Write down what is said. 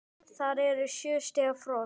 Það er sjö stiga frost!